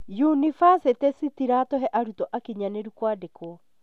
yunibacĩtĩ cĩtiratũhe arutwo akinyanĩru kwandĩkwo